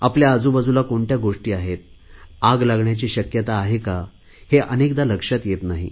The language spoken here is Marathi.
आपल्या आजूबाजुला कोणत्या गोष्टी आहेत आग लागण्याची शक्यता आहे का हे अनेकदा लक्षात येत नाही